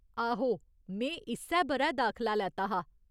आहो, में इस्सै ब'रै दाखला लैता हा।